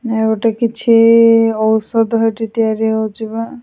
ନାଇ ଗୋଟେ କିଛି ଔଷଧ ହେଠି ତିଆରି ହେଉଛି ବା--